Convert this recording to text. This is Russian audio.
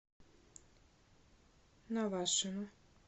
навашино